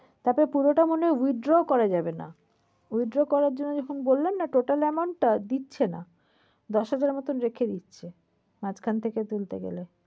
তারপর পুরোটা মনে হয় withdraw করা যাবে না। withdraw করার জন্য বললেন না total amount টা দিচ্ছে না। দশ হাজারের মত রেখে দিচ্ছে। মাঝখান থেকে তুলতে গেলে।